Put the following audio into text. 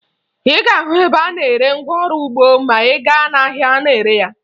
Ị ga-ahụ ebe a na-ere ngwaọrụ ugbo ma ị gaa n'ahịa na-ere ya